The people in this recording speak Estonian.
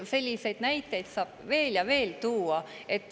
Selliseid näiteid saab veel ja veel tuua.